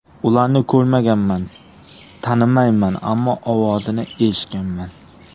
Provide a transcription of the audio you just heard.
Ularni ko‘rmaganman, tanimayman, ammo ovozini eshitganman.